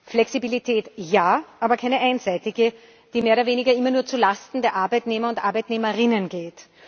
Flexibilität ja, aber keine einseitige, die mehr oder weniger immer nur zu Lasten der Arbeitnehmer und Arbeitnehmerinnen geht.